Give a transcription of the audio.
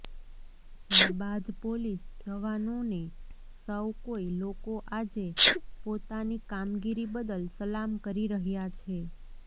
જાબાઝ police જવાનો ને સવ કોઈ લોકો આજે પોતાની કામગીરી બદલ સલામ કરી રહ્યા છે